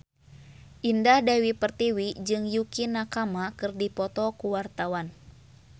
Indah Dewi Pertiwi jeung Yukie Nakama keur dipoto ku wartawan